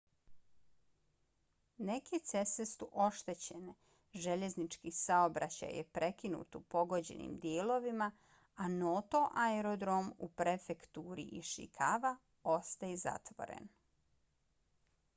neke ceste su oštećene željeznički saobraćaj je prekinut u pogođenim dijelovima a noto aerodrom u prefekturi ishikawa ostaje zatvoren